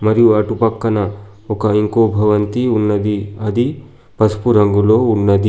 మరియు అటు పక్కన ఒక ఇంకో భవంతి ఉన్నది అది పసుపు రంగులో ఉన్నది.